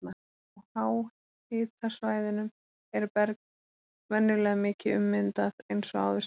Á háhitasvæðunum er berg venjulega mikið ummyndað eins og áður segir.